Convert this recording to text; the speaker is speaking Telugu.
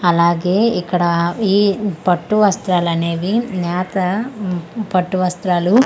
అలాగే ఇక్కడ ఈ పట్టు వస్త్రాలనేవి నేతా ఉమ్ పట్టు వస్త్రాలు.